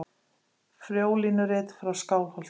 Frjólínurit frá Skálholti.